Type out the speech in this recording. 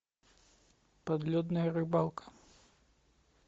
подледная рыбалка